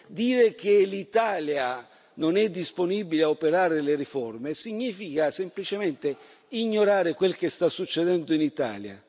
Dire che l'Italia non è disponibile a operare le riforme significa semplicemente ignorare quel che sta succedendo in Italia.